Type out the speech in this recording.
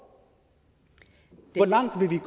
langt vil vi